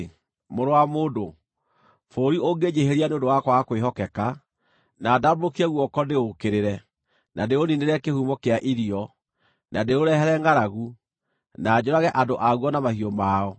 “Mũrũ wa mũndũ, bũrũri ũngĩnjĩhĩria nĩ ũndũ wa kwaga kwĩhokeka, na ndambũrũkie guoko ndĩũũkĩrĩre, na ndĩũniinĩre kĩhumo kĩa irio, na ndĩũrehere ngʼaragu, na njũrage andũ aguo na mahiũ mao,